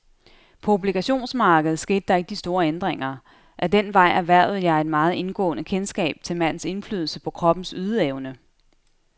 På obligationsmarkedet skete der ikke de store ændringer. Ad den vej erhvervede jeg et meget indgående kendskab til madens indflydelse på kroppens ydeevne.